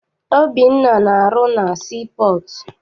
Obinna na-arụ na sii pọọtụ.